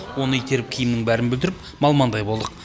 оны итеріп киімнің бәрін бүлдіріп малмандай болдық